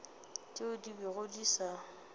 tšeo di bego di sa